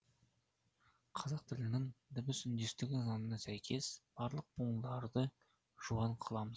қазақ тілінің дыбыс үндестігі заңына сәйкес барлық буындарды жуан қыламыз